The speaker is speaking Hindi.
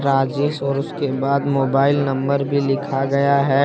राजेश और उसके बाद मोबाइल नंबर भी लिखा गया है।